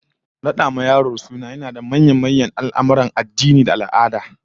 Rada wa yaro suna yana daga manyan al'amurra na addini da al'ada da ya shafi haihuwa